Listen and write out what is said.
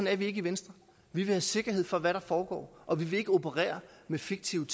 er vi ikke i venstre vi vil have sikkerhed for hvad der foregår og vi vil ikke operere med fiktive